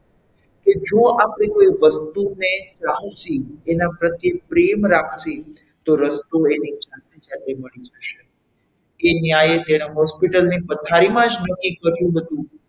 કે જોઈ આપણે કોઈ વસ્તુને ચાહિયે એના પ્રત્યે પ્રેમ રાખીએ તો રસ્તો એની જાતે જાતે મળી જશે તે ન્યાય તેનાં Hospital ની પથારીમાં જ નક્કી કર્યું હતું.